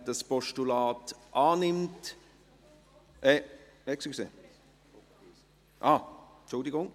Wer dieses Postulat annimmt … Entschuldigen Sie.